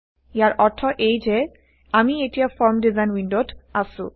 ইয়াৰ অৰ্থ এয়ে যে আমি এতিয়া ফৰ্ম ডিজাইন ৱিণ্ডত আছো